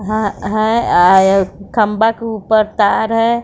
वह खंभा के ऊपर तार है।